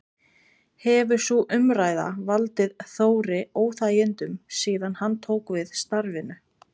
Hefur sú umræða valdið Þóri óþægindum síðan hann tók við starfinu?